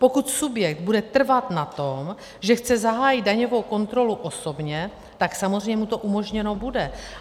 Pokud subjekt bude trvat na tom, že chce zahájit daňovou kontrolu osobně, tak samozřejmě mu to umožněno bude.